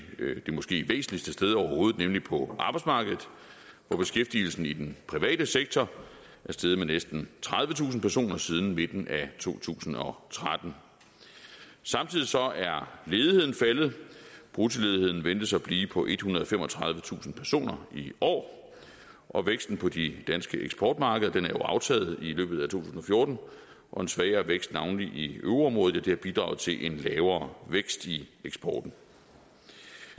det måske væsentligste sted overhovedet nemlig på arbejdsmarkedet hvor beskæftigelsen i den private sektor er steget med næsten tredivetusind personer siden midten af to tusind og tretten samtidig er ledigheden faldet bruttoledigheden ventes at blive på ethundrede og femogtredivetusind personer i år og væksten på de danske eksportmarkeder er jo aftaget i løbet af to tusind og fjorten og en svagere vækst navnlig i euroområdet har bidraget til en lavere vækst i eksporten